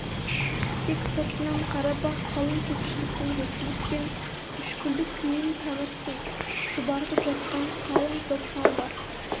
тек сыртынан қарап-ақ қалың көпшіліктің жоқшылық пен мүшкілдік күйін танырсың шұбартып жатқан қалың топ мал бар